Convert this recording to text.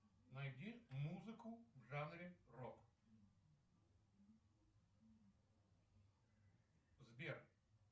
найди музыку в жанре рок сбер